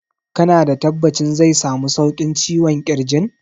Ka na da tabbacin zai samu sauƙin ciwon ƙirjin?